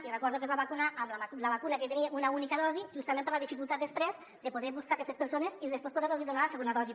i recordo que es va vacunar amb la vacuna que tenia una única dosi justament per la dificultat després de poder buscar aquestes persones i poder los hi donar la segona dosi